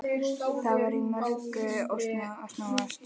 Það var í mörgu að snúast.